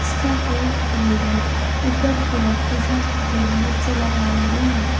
इसका colour red है ऊपर की ओर शीशा के मदद से लगाए गए हैं।